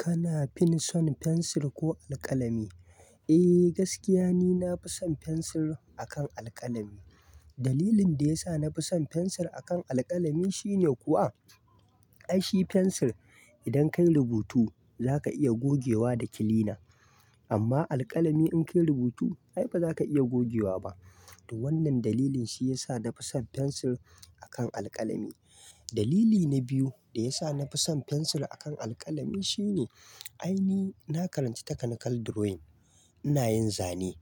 Kana fin son fensir ko alƙalami? Eh gaskiya ni nafi son fensir akan alƙalami. Dalilin da yasa nafi son fensir akan alƙalami shine kuwa, ai shi fensir idan kai rubutu za ka iya gogewa da kilina. Amma alƙalami in kai rubutu ai ba za ka iya gogewa ba. To wannan dalilin shi yasa nafi son fensir akan alkalami. Dalili na biyu da yasa nafi son fensir akan alƙalami shine ai ni na karanci takanikal diroyin. Ina yin zane.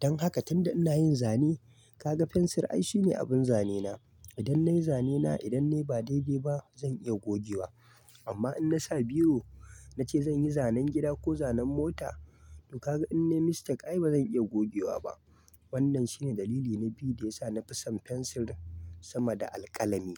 Dan haka tunda ina yin zane kaga fensir ai shine abin zane na. Idan nayi zane na idan nai ba daidai ba zan iya gogewa. Amma in na sa biro na ce zan yi zanen gida ko zanen mota to ka ga in nai mistake ai ba zan iya gogewa ba. Wannan shine dalili na biyu da yasa nafi son fensir sama da alkalami.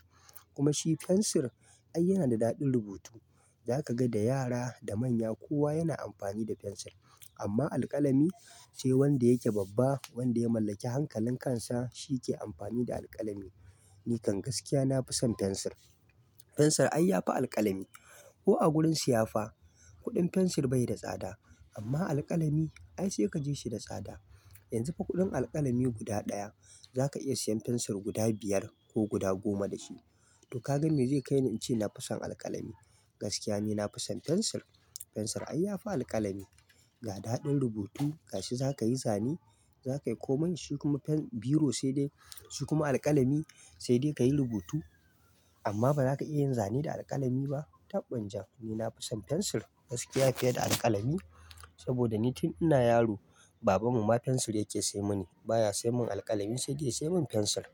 Kuma shi fensir ai yana da daɗin rubutu. Za ka ga da yara da manya kowa yana amfani da fensir. Amma alƙalami sai wanda yake babba wanda ya mallaki hankalin kansa shi ke amfani da alƙalami. Ni kan gaskiya nafi son fensir. Fensir ai yafi alƙalami. Ko a gurin siya fa kuɗin fensir bai da tsada amma alƙalami ai sai ka ji shi da tsada. Yanzu fa kuɗin alƙalami guda ɗaya za ka iya siyan fensir guda biyar ko guda goma da shi. To kaga me zai kai ni in ce nafi son alƙalami. Gaskiya ni nafi son fensir. Fensir ai yafi alƙalami. Ga daɗin rubutu ga shi za ka yi zane za kai komai, shi kuma fen, biro sai dai shi kuma alƙalami sai dai kayi rubutu. Amma ba za ka iya yin zane da alkalami ba. Taɓɓin jan. Ni na fi son fensir gaskiya fiye da alƙalami. Saboda ni tun ina yaro baban mu ma fensir yake sai muni baya sai mun alƙalami sai dai ya sai mun fensir.